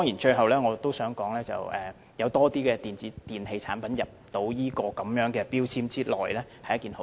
最後，我想說有更多電子電器產品納入強制性標籤計劃內是一件好事。